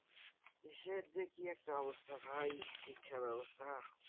দেশের যে কি একটা অবস্থা ভাই শিক্ষা ব্যাবস্থা।